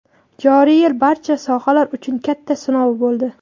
joriy yil barcha sohalar uchun katta sinov bo‘ldi.